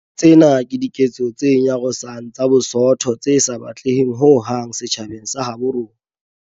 Tsena ke diketso tse nyarosang tsa bosoto tse sa batleheng ho hang setjhabeng sa habo rona.